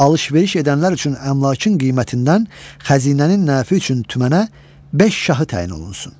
Alış-veriş edənlər üçün əmlakın qiymətindən xəzinənin nəfi üçün tümənə beş şahı təyin olunsun.